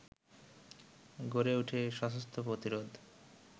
গড়ে ওঠে সশস্ত্র প্রতিরোধ